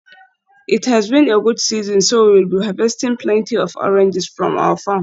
It has been a good season so we will be harvesting plenty of oranges from our farm.